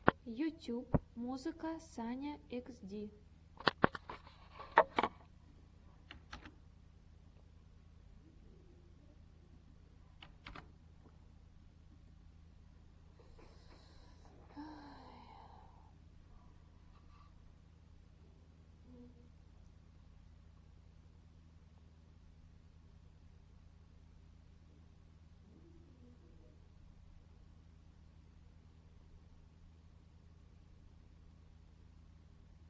ютюб музыка саня хд